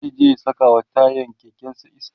zai je ya sakawa tayan kekensa iska